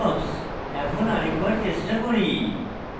এখন আরেক বার চেষ্টা করি